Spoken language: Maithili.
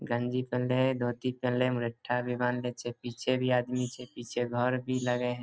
गंजी पेहेनले हई धोती पेहेनले हई मुरेट्ठा भी बांधले छे पीछे भी आदमी छे पीछे घर भी लग हे।